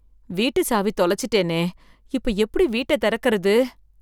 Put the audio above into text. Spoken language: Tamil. வீட்டு சாவி தொலைச்சிட்டேனே இப்ப எப்படி வீட்ட திறக்கிறது?